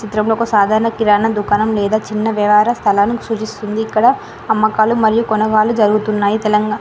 చిత్రం లో ఒక సాధారణ కిరణ దుకాణం లేదా చిన్న వ్యవార స్థలాలను చూపిస్తుంది ఇక్కడ అమ్మకాలు మరియు కొనవాళ్లు జరుగుతున్నాయి తెలంగ.